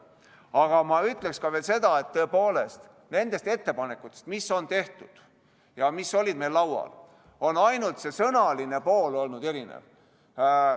Aga ma ütleksin veel seda, et tõepoolest, nendel ettepanekutel, mis on tehtud ja mis olid meil laual, on ainult see sõnaline pool olnud erinev.